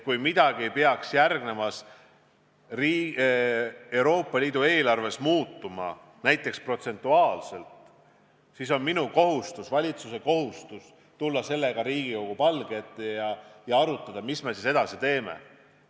Kui midagi peaks järgmises Euroopa Liidu eelarves näiteks rahastamise protsendi osas muutuma, siis on minu kohustus, valitsuse kohustus tulla sellega Riigikogu palge ette ja arutada, mida me edasi teeme.